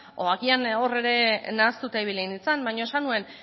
o agian hor ere nahastuta ibili nintzen baina esan nuen